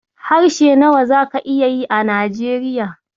Harshe nawa zaka iya yi a Najeriya?